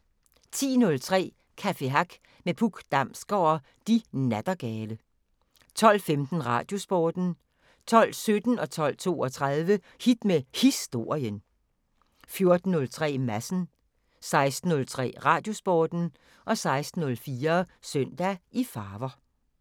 10:03: Café Hack med Puk Damsgaard og De Nattergale 12:15: Radiosporten 12:17: Hit med Historien 12:32: Hit med Historien 14:03: Madsen 16:03: Radiosporten 16:04: Søndag i farver